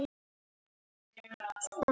Hvar á maður að byrja?